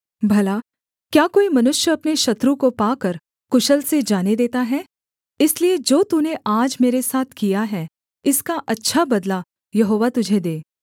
भला क्या कोई मनुष्य अपने शत्रु को पाकर कुशल से जाने देता है इसलिए जो तूने आज मेरे साथ किया है इसका अच्छा बदला यहोवा तुझे दे